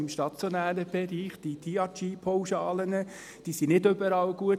Im stationären Bereich sind diese DRG-Pauschalen nicht überall gut.